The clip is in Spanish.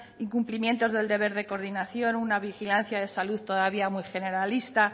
incumplimientos del deber de coordinación una vigilancia de salud todavía muy generalista